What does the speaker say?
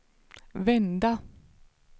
vända